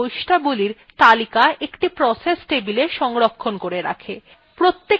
kernel এই বৈশিষ্ট্যাবলীর তালিকা একটি process table সংরক্ষণ করে রাখে